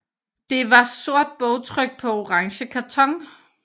Det var sort bogtryk på orange karton